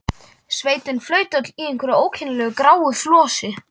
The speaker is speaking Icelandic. Sveitin flaut öll í einhverju ókennilegu gráu flosi.